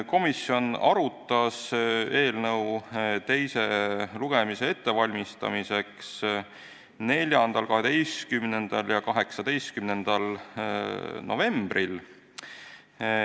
Komisjon valmistas eelnõu teist lugemist ette 4., 12. ja 18. novembril.